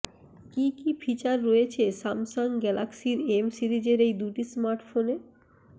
কি কি ফিচার রয়েছে স্যামসাং গ্যালাক্সির এম সিরিজের এই দুটি স্মার্টফোনে